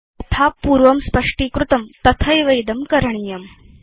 यथा पूर्वं स्पष्टीकृतं तथैव इदं कृतम्